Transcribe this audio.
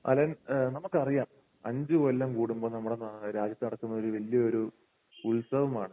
Allen ഏഹ് നമുക്കറിയാം അഞ്ചുകൊല്ലം കൂടുമ്പോൾ നമ്മുടെ നാ നമ്മുടെ രാജ്യത്ത് നടക്കുന്ന ഒരു വലിയ ഒരു ഉത്സവമാണ്